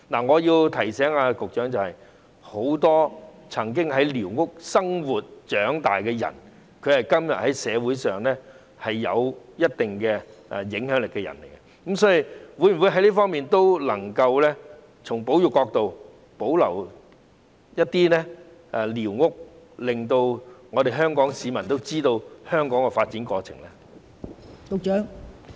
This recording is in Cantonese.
我要提醒局長，很多曾經在寮屋生活及長大的人，今天在社會上有一定的影響力，所以，局長能否從保育角度，保留一些寮屋，讓香港市民知道香港的發展過程？